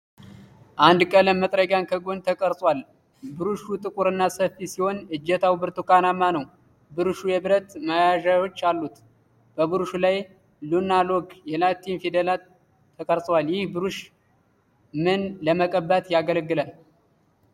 አንድ ቀለም መጥረጊያ ከጎን ተቀርጾአል። ብሩሹ ጥቁርና ሰፊ ሲሆን እጀታው ብርቱካናማ ነው። ብሩሹ የብረት ማያያዣዎች አሉት። በብሩሹ ላይ የ'Luna' ሎጎ የላቲን ፊደላት ተቀርጸዋል። ይህ ብሩሽ ምን ለመቀባት ያገለግላል?